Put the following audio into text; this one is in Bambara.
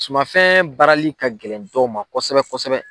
Sumafɛn baarali ka gɛlɛn dɔw ma kosɛbɛ kosɛbɛ